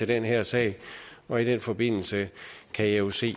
den her sag og i den forbindelse kan jeg jo se